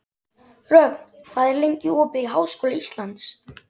Rögn, hvað er lengi opið í Háskóla Íslands?